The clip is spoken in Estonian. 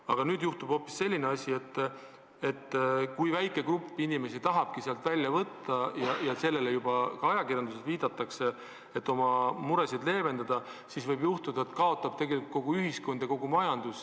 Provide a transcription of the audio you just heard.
Aga nüüd juhtub hoopis selline asi, et kui väike grupp inimesi tahab oma raha sambast välja võtta – ja sellele juba ajakirjanduses viidatakse –, et oma muresid leevendada, siis võib juhtuda, et kaotab tegelikult kogu ühiskond ja kogu majandus.